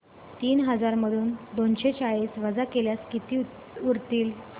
तीन हजार मधून दोनशे चाळीस वजा केल्यास किती उरतील